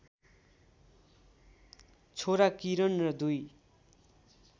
छोरा किरण र दुई